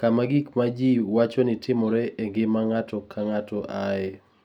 kama gik ma ji wacho ni timore e ngima ng'ato ka ng'ato ae.